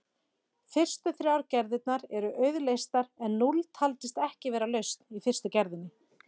Fyrstu þrjár gerðirnar eru auðleystar en núll taldist ekki vera lausn í fyrstu gerðinni.